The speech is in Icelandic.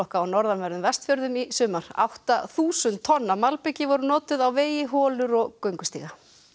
á norðanverðum Vestfjörðum í sumar átta þúsund tonn af malbiki voru notuð á vegi holur og göngustíga